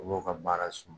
U b'u ka baara sɔrɔ